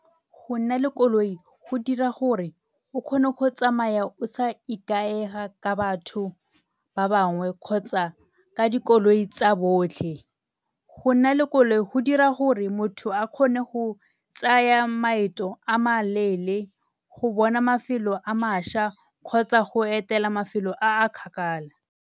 Go nna le koloi go dira gore o kgone go tsamaya o sa ikaega ka batho ba bangwe kgotsa ka dikoloi tsa botlhe. Go nna le koloi go dira gore motho a kgone go tsaya maeto a maleele go bona mafelo a mašwa kgotsa go etela mafelo a a kgakala.